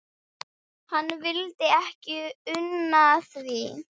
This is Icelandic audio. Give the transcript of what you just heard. Hann vildi ekki una því.